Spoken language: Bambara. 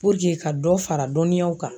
ka dɔ fara dɔnniyaw kan.